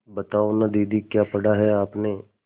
बताओ न दीदी क्या पढ़ा है आपने